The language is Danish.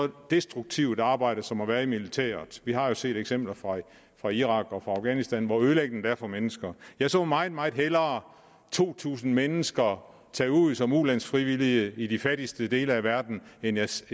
destruktivt arbejde som at være i militæret vi har jo set eksempler fra irak og afghanistan på hvor ødelæggende det er for mennesker jeg ser meget meget hellere to tusind mennesker tage ud som ulandsfrivillige i de fattigste dele af verden end jeg ser